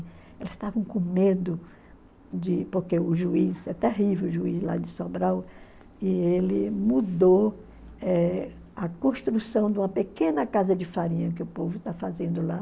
Elas estavam com medo de... Porque o juiz, é terrível o juiz lá de Sobral, e ele mudou eh a construção de uma pequena casa de farinha que o povo está fazendo lá.